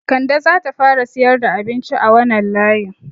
Kande zata fara siyar da abinci a wanan layin